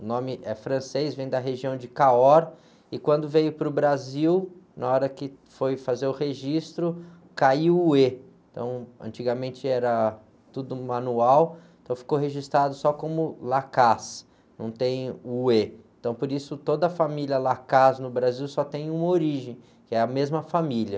O nome é francês, vem da região de, e quando veio para o Brasil, na hora que foi fazer o registro, caiu o ê. Então, antigamente era tudo manual, então ficou registrado só como, não tem o ê. Então, por isso, toda a família no Brasil só tem uma origem, que é a mesma família.